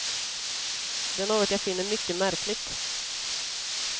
Det är något jag finner mycket märkligt.